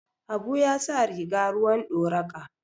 Habu ya sa riga ruwan doraqa